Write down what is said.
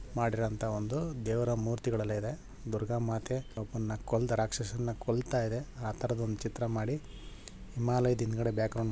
ಮಾಡಿರುವಂತಹ ಒಂದು ದೇವರ ಮೂರ್ತಿಗಳೆಲ್ಲ ಇದೆ ದುರ್ಗಾಮಾತೇ ಒಬ್ಬ ಕೊಂದ ರಾಕ್ಷಸನ್ನ ಕೊಲ್ತಾಯಿದೆ ಆತರದ ಒಂದ್ ಚಿತ್ರ ಮಾಡಿ ಹಿಮಾಲಯದ್ ಹಿಂದ್ಗಡೆ ಬ್ಯಾಕ್ ಗ್ರೌಂಡ್ ಮಾಡಿ --